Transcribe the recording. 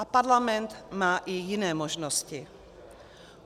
A parlament má i jiné možnosti.